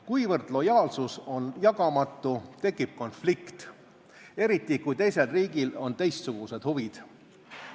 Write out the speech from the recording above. Kuivõrd lojaalsus on jagamatu, tekib konflikt, eriti kui teisel riigil on teistsugused huvid.